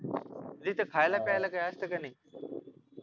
तिथे खायला प्यायला काही असत का नाही